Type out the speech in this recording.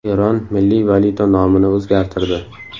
Eron milliy valyuta nomini o‘zgartirdi.